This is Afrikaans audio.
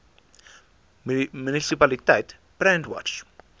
munisipaliteit brandwatch